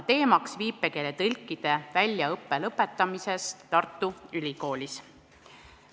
Teemaks oli viipekeeletõlkide väljaõppe lõpetamine Tartu Ülikoolis.